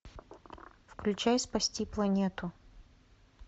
включай спасти планету